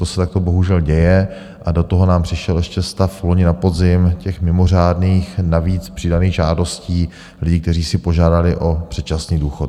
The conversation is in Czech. To se takto bohužel děje a do toho nám přišel ještě stav loni na podzim, těch mimořádných, navíc přidaných žádostí lidí, kteří si požádali o předčasný důchod.